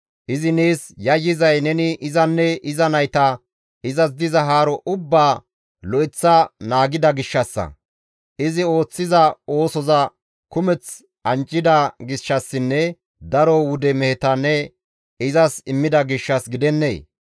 Izi nees yayyizay neni izanne iza nayta, izas diza haaro ubbaa lo7eththa naagida gishshassa; izi ooththiza oosoza kumeth anjjida gishshassinne daro wude meheta ne izas immida gishshas gidennee?